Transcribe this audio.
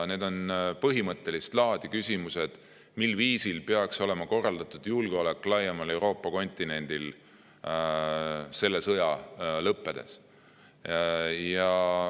Need on põhimõttelist laadi küsimused, mil viisil peaks olema korraldatud julgeolek laiemal Euroopa kontinendil selle sõja lõppedes.